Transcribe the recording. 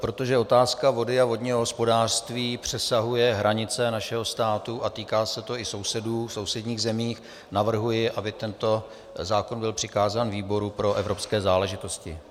Protože otázka vody a vodního hospodářství přesahuje hranice našeho státu a týká se to i sousedů v sousedních zemích, navrhuji, aby tento zákon byl přikázán výboru pro evropské záležitosti.